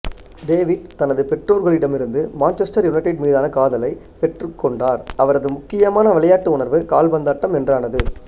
David தன் பெற்றோர்களிடமிருந்து Manchester United மீதான காதலைப் பெற்றுக்கொண்டார் அவரது முக்கியமான விளையாட்டு உணர்வு கால்பந்தாட்டம் என்றானது